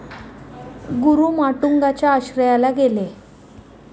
गुरु माटुंगा च्या आश्रयाला गेले